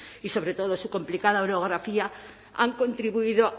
y sobre todo su complicada orografía han contribuido